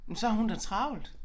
Men så har hun da travlt